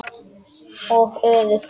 Og öfugt.